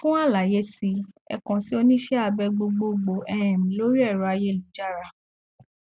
fún àlàyé sí ẹ kàn sí oníṣẹ abẹ gbogboogbò um lórí ẹrọ ayélujára